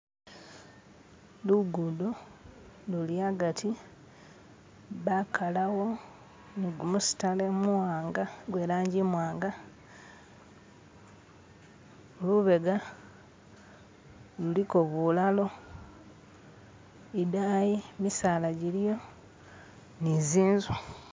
Lugudo luli agati bakalawo ni gumusitale muwanga gwe'langi i'mwanga, lubega luliko bulalo, idayi misala jiliyo ni zi'nzu